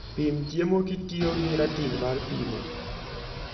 Pim chiemo kitiyo gi ratil mar pimo.